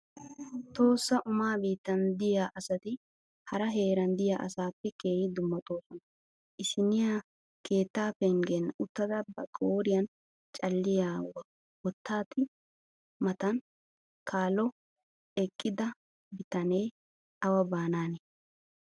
Tohossa umaa biittan diya asati hara heeran diya asaappe keehi dummatoosona. Issinniya keettaa pengen uttada ba qooriyan calliya wottati matan kallo eqqida bitane awa baanaani?